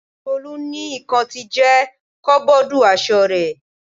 Tolu ní ikan ti jẹ koboodu aṣọ rẹ̀.